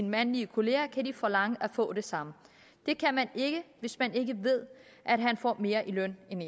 mandlige kollegaer kan de forlange at få det samme det kan man ikke hvis man ikke ved at de får mere i løn end